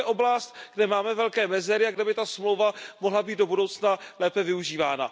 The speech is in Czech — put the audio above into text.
To je oblast, kde máme velké mezery a kde by ta smlouva mohla být do budoucna lépe využívána.